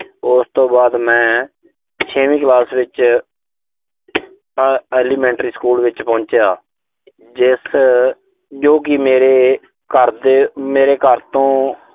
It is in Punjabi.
ਉਸ ਤੋਂ ਬਾਅਦ ਮੈਂ ਛੇਵੀਂ ਕਲਾਸ ਵਿੱਚ elementary ਸਕੂਲ ਵਿੱਚ ਪਹੁੰਚਿਆ। ਜਿਸ, ਜੋ ਕਿ ਮੇਰੇ ਘਰ ਦੇ, ਮੇਰੇ ਘਰ ਤੋਂ